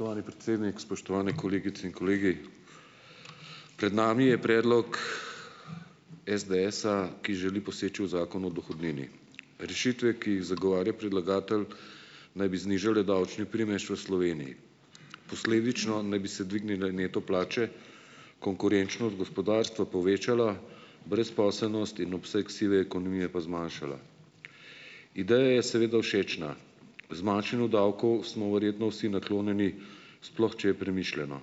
Spoštovani predsednik, spoštovani kolegice in kolegi! Pred nami je predlog SDS-a, ki želi poseči v zakon o dohodnini. Rešitve, ki jih zagovarja predlagatelj naj bi znižale davčni primež v Sloveniji. Posledično naj bi se dvignile neto plače, konkurenčnost gospodarstva povečala, brezposelnost in obseg sive ekonomije pa zmanjšala. Ideja je seveda všečna. Zmanjšanju davkov smo verjetno vsi naklonjeni, sploh če je premišljeno.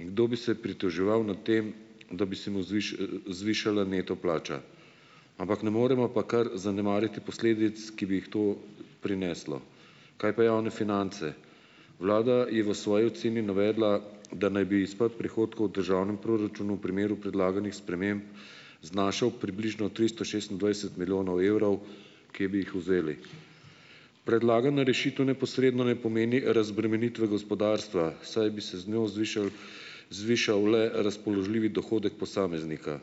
In kdo bi se pritoževal nad tem, da bi se mu zvišala neto plača. Ampak ne moremo pa kar zanemariti posledic, ki bi jih to prineslo. Kaj pa javne finance? Vlada je v svoji oceni navedla, da naj bi izpad prihodkov v državnem proračunu v primeru predlaganih sprememb znašal približno tristo šestindvajset milijonov evrov, kje bi jih vzeli? Predlagana rešitev neposredno ne pomeni razbremenitve gospodarstva, saj bi se z njo zvišal, zvišal le razpoložljivi dohodek posameznika.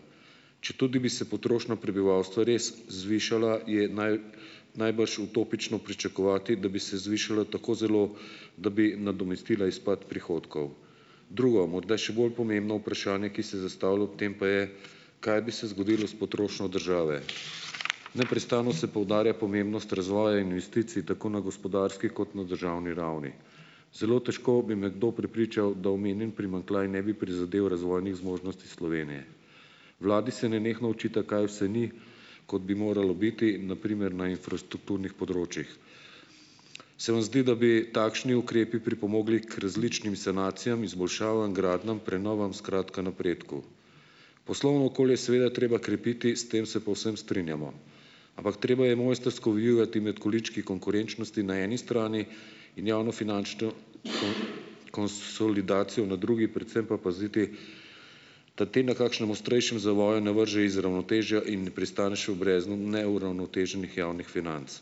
Četudi bi se potrošnja prebivalstva res zvišala je naj najbrž utopično pričakovati, da bi se zvišala tako zelo, da bi nadomestila izpad prihodkov. Drugo morda še bolj pomembno vprašanje, ki se zastavlja ob tem pa je, kaj bi se zgodilo s potrošnjo države. Neprestano se poudarja pomembnost razvoja investicij, tako na gospodarski kot na državni ravni. Zelo težko bi me kdo prepričal, da omenjen primanjkljaj ne bi prizadel razvojnih zmožnosti Slovenije. Vladi se nenehno očita, kaj vse ni, kot bi moralo biti, na primer na infrastrukturnih področjih. Se vam zdi, da bi takšni ukrepi pripomogli k različnim sanacijam, izboljšavam, gradnjam, prenovam, skratka napredku? Poslovno okolje je seveda treba krepiti, s tem se povsem strinjamo. Ampak treba je mojstrsko vijugati med količki konkurenčnosti na eni strani in javnofinančno konsolidacijo na drugi, predvsem pa paziti, da te na kakšnem ostrejšem zavoju ne vrže iz ravnotežja in pristaneš v breznu neuravnoteženih javnih financ.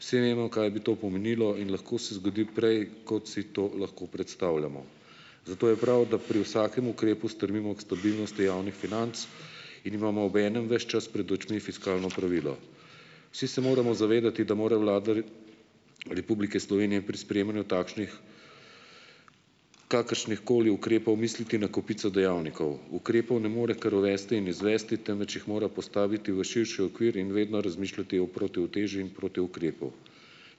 Vsi vemo, kaj bi to pomenilo, in lahko se zgodi prej, kot si to lahko predstavljamo. Zato je prav, da pri vsakem ukrepu strmimo k stabilnosti javnih financ in imamo obenem ves čas pred očmi fiskalno pravilo. Vsi se moramo zavedati, da mora Vlada Republike Slovenije pri sprejemanju takšnih, kakršnihkoli ukrepov misliti na kupico dejavnikov. Ukrepov ne more kar uvesti in izvesti, temveč jih mora postaviti v širši okvir in vedno razmišljati o protiuteži in protiukrepu.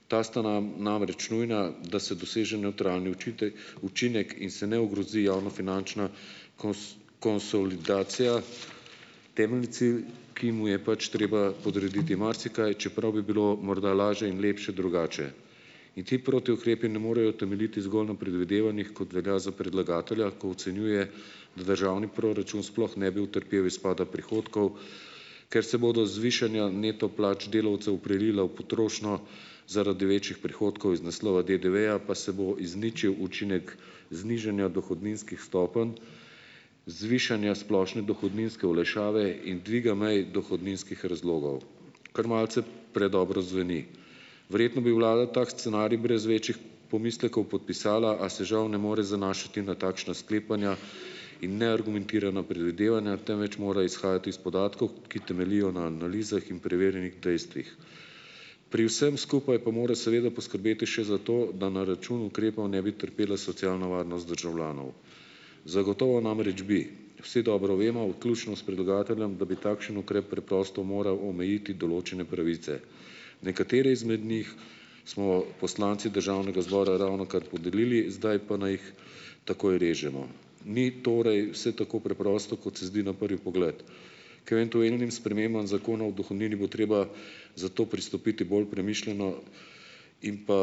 Ta sta nam, namreč nujna, da se doseže nevtralni učinek, in se ne ogrozi javnofinančna konsolidacija. Temeljni cilj, ki mu je pač treba podrediti marsikaj, čeprav bi bilo morda lažje in lepše drugače. In ti protiukrepi ne morejo temeljiti zgolj na predvidevanjih, kot velja za predlagatelja, ko ocenjuje, da državni proračun sploh ne bi utrpel izpada prihodkov, ker se bodo zvišanja plač delavcu neto prelila v potrošnjo zaradi večjih prihodkov iz naslova DDV-ja pa se izničil učinek znižanja dohodninskih stopenj, zvišanja splošne dohodninske olajšave in dviga meje dohodninskih razlogov. Kar malce predobro zveni. Verjetno bi vlada tako scenarij brez večjih pomislekov podpisala, a se žal ne more zanašati na takšna sklepanja in neargumentirana predvidevanja, temveč mora izhajati iz podatkov, ki temeljijo na analizah in preverjenih dejstvih. Pri vsem skupaj pa mora seveda poskrbeti še za to, da na račun ukrepov ne bi trpela socialna varnost državljanov. Zagotovo namreč bi, vsi dobro vemo, vključno s predlagateljem, da bi takšen ukrep preprosto moral omejiti določene pravice. Nekatere izmed njih smo poslanci državnega zbora ravnokar podelili, zdaj pa naj jih takoj režemo. Ni torej vse tako preprosto, kot se zdi na prvi pogled. K eventuelnim spremembam zakona o dohodnini bo treba zato pristopiti bolj premišljeno in pa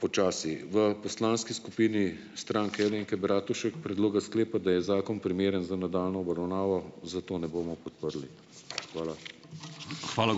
počasi. V poslanski skupini Stranke Alenke Bratušek predloga sklepa, da je zakon primeren za nadaljnjo obravnavo, zato ne bomo podprli. Hvala.